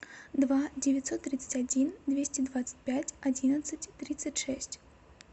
два девятьсот тридцать один двести двадцать пять одиннадцать тридцать шесть